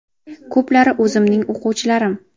Ko‘plari o‘zimning o‘quvchilarim.